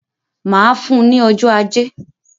Màá fún un ní ọjọ́ ajé